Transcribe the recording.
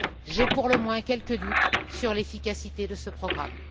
J'ai pour le moins quelques doutes sur l'efficacité de ce programme.